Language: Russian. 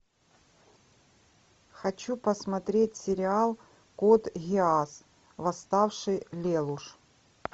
хочу посмотреть сериал код гиас восставший лелуш